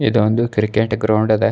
ಇದು ಒಂದು cricket ground ಅದ.